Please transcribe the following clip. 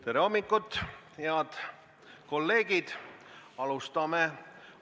Tere hommikust, head kolleegid!